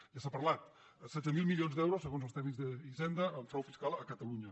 ja s’ha parlat setze mil milions d’euros segons els tècnics d’hisenda en frau fiscal a catalunya